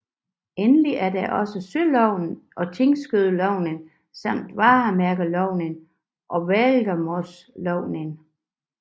Endelig er der også søloven og tinglysningsloven samt varemærkeloven og værgemålsloven